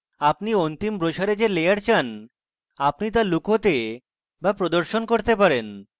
আপনি অন্তিম brochure যে লেয়ার চান আপনি তা লুকোতে বা প্রদর্শন করতে পারেন